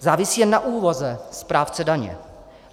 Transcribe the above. Závisí jen na úvaze správce daně.